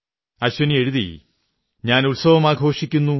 മൈം ത്യോഹാർ മനാതാ ഹൂം ഖുശ് ഹോതാ ഹൂം മുസ്കുരാതാ ഹൂം